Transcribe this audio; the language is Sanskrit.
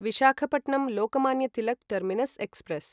Visakhapatnam Lokmanya Tilak terminus express